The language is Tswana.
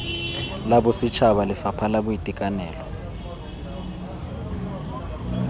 la bosetšhaba lefapha la boitekanelo